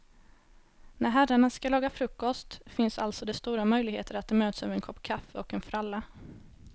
När herrarna ska laga frukost finns alltså det stora möjligheter att de möts över en kopp kaffe och en fralla.